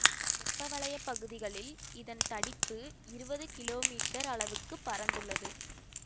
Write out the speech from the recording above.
வெப்பவலய பகுதிகளில் இதன் தடிப்பு இருபது கிலோ மீட்டர் அளவுக்குப் பரந்துள்ளது